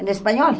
Em espanhol?